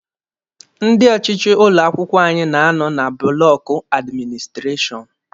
Ndị ọchịchị ụlọ akwụkwọ anyị na-anọ na bụlọkụ administireshọn